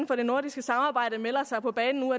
for det nordiske samarbejde melder sig på banen nu